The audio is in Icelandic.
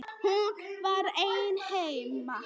Hún var ein heima.